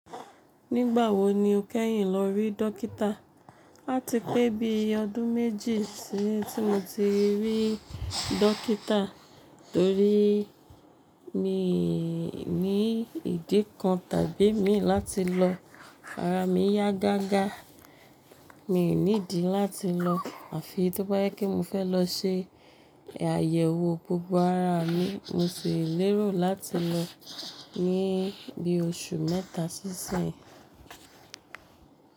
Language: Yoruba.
Nígbà wo ni o kẹ́yìn lọ rí dókítà? Ati pẹ́ bí i ọdún méjì tí mo ti rí dókítà torí mi ní ìdí kan tàbí mi láti lọ ara mi yá gágá. Mi ní ìdí láti lọ àfi tó bá jẹpe mo fẹ́ lọ se àyẹ̀wò gbogbo ara mi, mo sì lérò láti lọ ní bí oṣù mẹ́ta sí ìsìn.